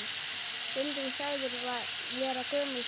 Stundum sagður vera gömul sál.